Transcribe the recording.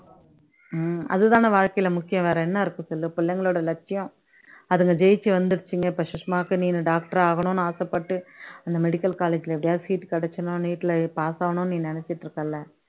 உம் அது தான வாழ்க்கையில முக்கியம் வேற என்ன இருக்கு சொல்லு புள்ளைங்களோட லட்சியம் அதுங்க ஜெயிச்சு வந்துடுச்சுடுங்க இப்போ சுஷ்மாக்கு நீனு doctor ஆகணும்னு ஆசைப்பட்டு அந்த medical college ல எப்படியாவது seat கிடைச்சுடணும் neet ல pass ஆகணும்னு நீ நினைச்சுட்டு இருக்கல்ல